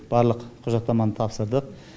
барлық құжаттаманы тапсырдық